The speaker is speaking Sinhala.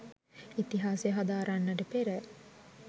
ඉතිහාසය හදාරන්නට පෙර